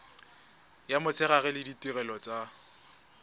ya motshegare le ditirelo tsa